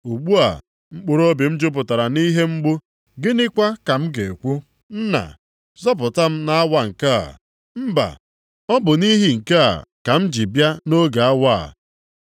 “Ugbu a, mkpụrụobi m jupụtara nʼihe mgbu. Gịnịkwa ka m ga-ekwu, Nna, zọpụta m nʼawa nke a? Mba! Ọ bụ nʼihi nke a ka m ji bịa nʼoge awa a.